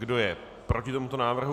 Kdo je proti tomuto návrhu?